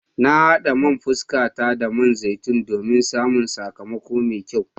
Na hada man fuskata da man zaitun domin samun sakamako mai kyau.